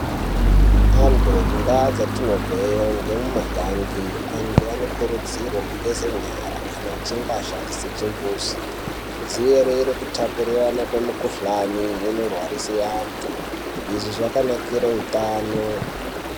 Antu mundau dzatinobveyo ngemugange antu anokurudzirwa kugeza nyara kana achinge ashandise chimbuzi. Kudziirire kutapukirana kwemukuhlani inorwarise antu, izvi zvakanakire hutano.